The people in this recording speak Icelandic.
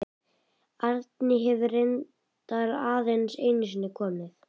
Árný hefur reyndar aðeins einu sinni komið.